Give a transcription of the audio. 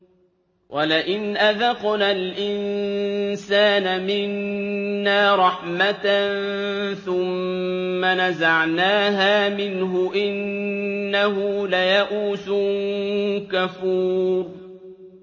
وَلَئِنْ أَذَقْنَا الْإِنسَانَ مِنَّا رَحْمَةً ثُمَّ نَزَعْنَاهَا مِنْهُ إِنَّهُ لَيَئُوسٌ كَفُورٌ